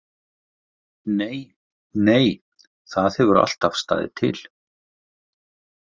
Nei, nei, það hefur alltaf staðið til.